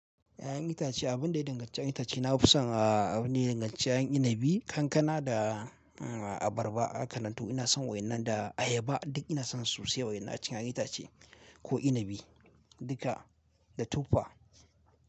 Ya'yan itace, abin da ya danganci 'yan itace, na fi son a, abin da ya danganci 'yan inabi, kankana da abarba aka lanto. Ina son waɗannan da ayaba duk ina son su sosai waɗannan cikin 'yan itace ko inabi duka da tuffa.